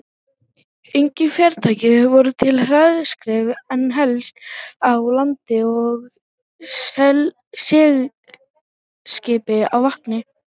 Engin farartæki voru til hraðskreiðari en hestar á landi og seglskip á vatni.